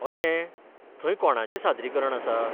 अशें, थंय कोणाचें सादरीकरण आसा?